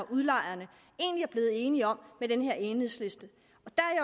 udlejerne egentlig er blevet enige om med den her enighedsliste